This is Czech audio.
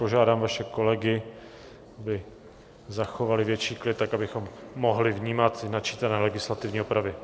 Požádám vaše kolegy, aby zachovali větší klid, tak abychom mohli vnímat načítané legislativní opravy.